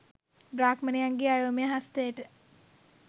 බ්‍රාහ්මණයන්ගේ අයෝමය හස්තයට